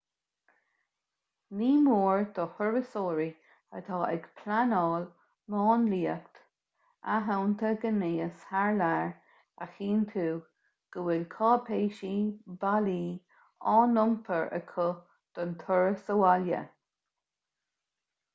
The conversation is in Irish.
ní mór do thurasóirí atá ag pleanáil máinliacht athshannta gnéis thar lear a chinntiú go bhfuil cáipéisí bailí á n-iompar acu don turas abhaile